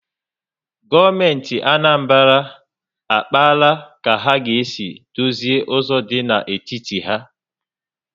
Gọọmenti Anambra akpaala ka ha ga esi dozi ụzọ dị na steeti ha